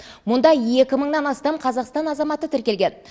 мұнда екі мыңнан астам қазақстан азаматы тіркелген